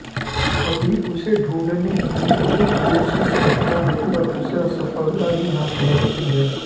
अभि उसे ढूँढने की बहुत कोशिश करता है पर उसे असफलता ही हाथ लगती है